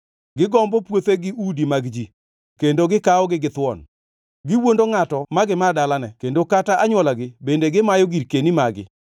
Gigombo puothe gi udi mag ji kendo gikawogi githuon. Giwuondo ngʼato ma gimaa dalane kendo kata anywolagi bende gimayo girkeni magi.